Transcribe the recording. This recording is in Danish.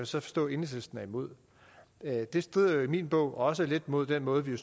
så forstå at enhedslisten er imod det strider i min bog også lidt mod den måde vi